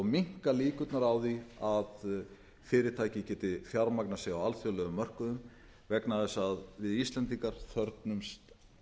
minnka líkurnar á því að fyrirtæki geti fjármagnað sig á alþjóðlegum mörkuðum vegna þess að við íslendingar þörfnumst